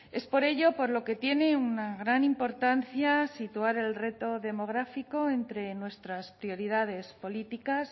es por ello por lo que tiene una gran importancia situar el reto demográfico entre nuestras prioridades políticas